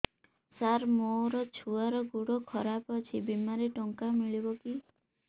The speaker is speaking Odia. ସାର ମୋର ଛୁଆର ଗୋଡ ଖରାପ ଅଛି ବିମାରେ ଟଙ୍କା ମିଳିବ କି